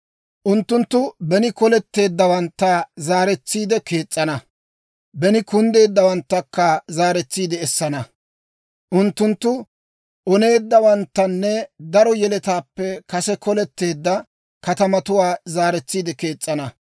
Unttunttu beni koletteeddawantta zaaretsiide kees's'ana; beni kunddeeddawanttakka zaaretsiide essana. Unttunttu oneeddawanttanne daro yeletaappe kase koletteedda katamatuwaa zaaretsiide kees's'ana.